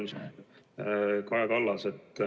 Lugupeetud Kaja Kallas!